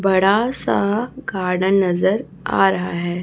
बड़ा सा गार्डन नज़र आ रहा है।